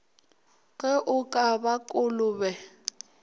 ge o ka ba kolobe